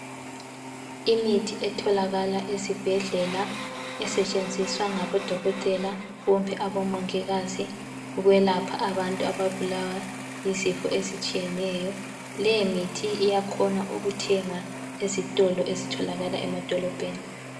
Imithi etholakala esibhedlela esetshenziswa ngabodokotela kumbe abomongikazi ukwelapha abantu ababulawa yizifo ezitshiyeneyo, leyi mithi iyakhona ukuthengwa ezitolo ezitholakala emadolobheni.